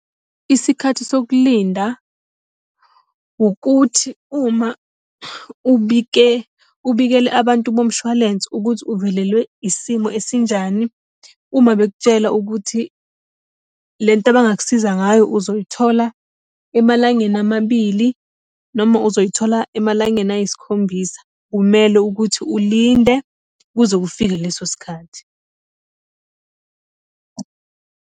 Isikhathi sokulinda, ukuthi uma ubike, ubikele abantu bomshwalense ukuthi uvelelwe isimo esinjani, uma bekutshela ukuthi lento abangakusiza ngayo uzoyithola emalangeni amabili noma uzoyithola emalangeni ayisikhombisa. Kumele ukuthi ulinde kuze kufike leso sikhathi.